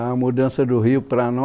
a mudança do rio para nós